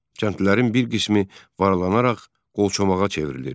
Kəndlilərin bir qismi varlanaraq qolçomağa çevrilir.